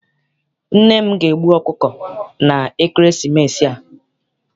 Nne m ga- egbu ọkụkọ na ekeresimesi a.